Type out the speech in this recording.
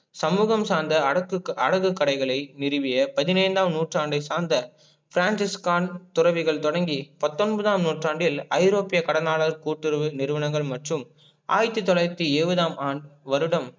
சமூகம் சார்ந்த அடகு கடைகலை நிறுவிய பதினைந்தாம் நூற்றாண்டை சார்ந் Francis Con துறவிகள் தொடக்கி பத்தொன்பதாம் நூற்றாண்டில் ஐரோப்பிய கடனாளர் கூட்டுறவு நிறுவனங்கள் மற்றும் ஆயிரத்தி தொலாயிரத்தி இருவதாம் வருடம்